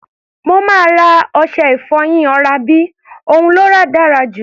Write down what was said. Mo máa ra ọṣẹ-ìfọyín oral B, òun ló dára jù.